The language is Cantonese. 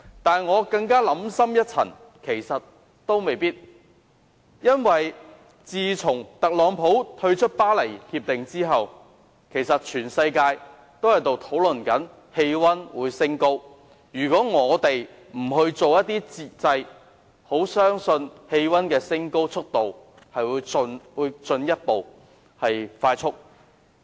但是，我想深一層，其實也未必如此，因為自從特朗普退出《巴黎協定》後，全世界均在討論全球氣溫上升，如果我們不推出節制措施，相信氣溫上升的速度會進一步加快。